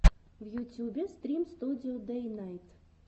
в ютюбе стрим студио дэйнайт